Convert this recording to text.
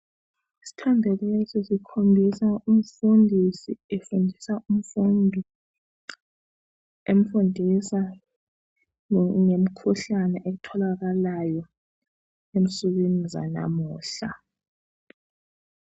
Isithombe lesi sikhombisa umfundisi efundisa umfundi . Emfundisa ngemkhuhlane etholakalayo ensukwini zanamuhla .